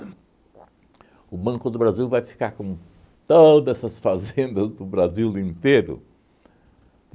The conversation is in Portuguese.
uhn o Banco do Brasil vai ficar com todas essas fazendas do Brasil inteiro?